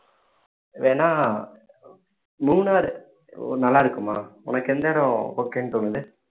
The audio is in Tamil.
வேணா மூணார் நல்லா இருக்குமா உனக்கு எந்த இடம் okay ன்னு தோணுது